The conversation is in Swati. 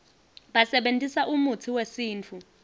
basebentisa umutsi wesintfu